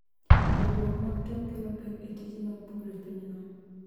Ywaruok mag tong' kelo pek e tije mag pur e pinyno.